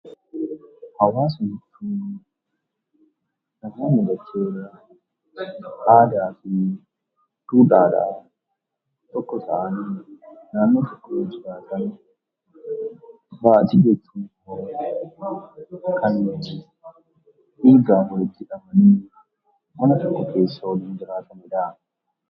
Hawaasni uummata naannoo tokkoo aadaa fi duudhaadhaan tokko ta'an kan naannoo tokko jiraatanidha. Maatii jechuun immoo kan dhiigaa fi mana tokko keessa waliin jiraatanidha.